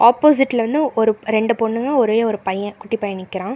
ஆப்போசிட்ல வந்து ஒரு ரெண்டு பொண்ணுங்க ஒரே ஒரு பைய குட்டி பையன் நிக்கிறான்.